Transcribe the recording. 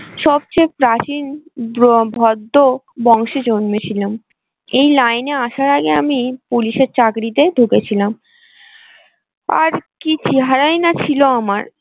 সবচেয়ে প্রাচীন ভদ্র বংশে জন্মেছিলাম এই line এ আসার আগে আমি police এর চাকরিতে ঢুকেছিলাম। আর কি চেহারায় না ছিল আমার।